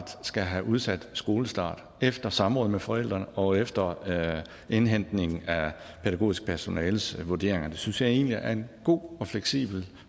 skal have udsat skolestart efter samråd med forældrene og efter indhentning af pædagogisk personales vurderinger det synes jeg egentlig er en god og fleksibel